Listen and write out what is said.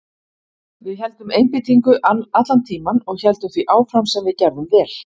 Við héldum einbeitingu allan tímann og héldum því áfram sem við gerðum vel.